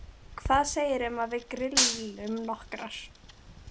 Hvað segirðu um að við grillum nokkrar?